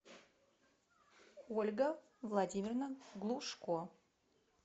ольга владимировна глушко